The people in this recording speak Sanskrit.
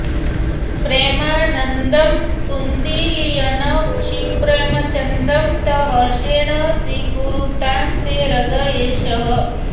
प्रेमानन्दं तुन्दिलयन् क्षिप्रममन्दं तं हर्षेण स्वीकुरुतां ते हृदयेशः